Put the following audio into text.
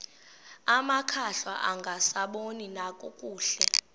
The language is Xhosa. amakhwahla angasaboni nakakuhle